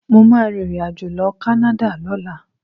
Mo máa rìnrìnàjò lọ Canada lọ́la.